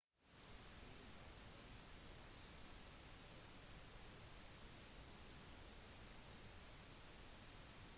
gull kan komme i alle mulige former det kan rulles inn i ørsmå former